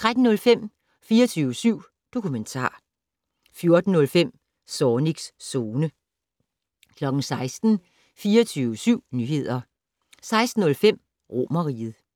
13:05: 24syv dokumentar 14:05: Zornigs Zone 16:00: 24syv Nyheder 16:05: Romerriget